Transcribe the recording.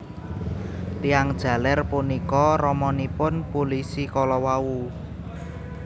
Tiyang jaler punika ramanipun pulisi kalawau